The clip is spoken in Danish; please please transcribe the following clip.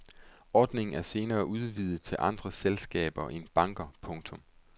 Ordningen er senere udvidet til andre selskaber end banker. punktum